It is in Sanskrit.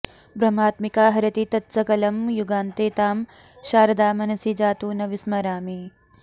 ब्रह्मात्मिका हरति तत्सकलं युगान्ते तां शारदा मनसि जातु न विस्मरामि